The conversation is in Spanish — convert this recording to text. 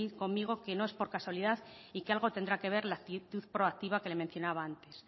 conmigo que no es por casualidad y que algo tendrá que ver la actitud proactiva que le mencionaba antes